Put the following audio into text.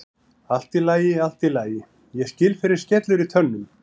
Allt í lagi, allt í lagi, ég skil fyrr en skellur í tönnum.